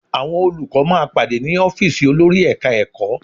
Àwọn olùkọ́ máa pàdé ní ọ́fíìsì olórí Ẹ̀ka-ẹ̀kọ́